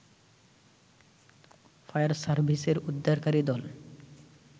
fire সার্ভিসের উদ্ধারকারী দল